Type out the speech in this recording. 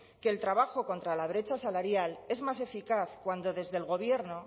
que el trabajo contra la brecha salarial es más eficaz cuando desde el gobierno